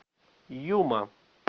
юма